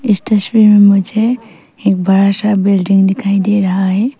इस तस्वीर में मुझे एक बड़ा सा बिल्डिंग दिखाई दे रहा है।